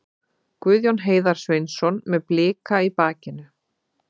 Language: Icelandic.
Guðjón Heiðar Sveinsson með Blika í bakinu.